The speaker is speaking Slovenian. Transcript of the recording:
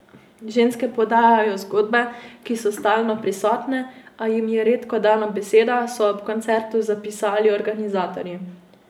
Ženske podajajo zgodbe, ki so stalno prisotne, a jim je redko dana beseda, so ob koncertu zapisali organizatorji.